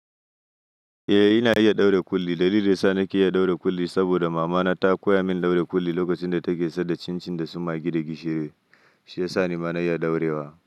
Eh, ina iya ɗaura kulli. Dalilin sa nake iya ɗaura kulli saboda mama na ta koya min ɗaura kulli lokacin da take sadar cin-cin da su magi da gishiri, shi yasa nima na iya ɗaurewa.